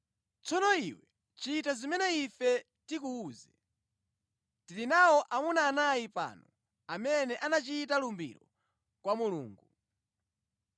tsono iwe chita zimene ife tikuwuze. Tili nawo amuna anayi pano amene anachita lumbiro kwa Mulungu.